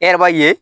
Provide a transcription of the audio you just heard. E yɛrɛ b'a ye